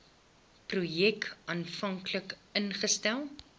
projek aanvanklik ingestel